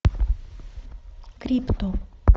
крипто